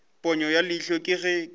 ponyo ya leihlo ke ge